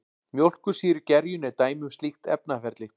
Mjólkursýrugerjun er dæmi um slíkt efnaferli.